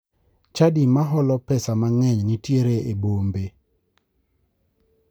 Chadi ma holo pesa mang'eny nitiere e bombe.